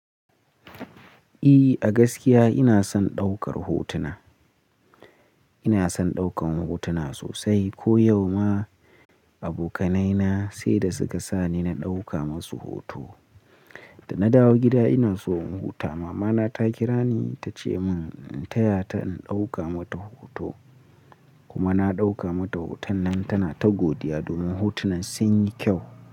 Eh, a gaskiya ina son ɗaukar hotuna. Ina son ɗaukan hotuna sosai. Ko yau ma abokanaina sai da suka sani na ɗauka musu hoto. Da na dawo gida ina so in huta. Mama na ta kira ni ta ce mun in taya ta in ɗauka mata hoto kuma na ɗauka mata hoton nan tana ta godiya domin hotunan sun yi kyau.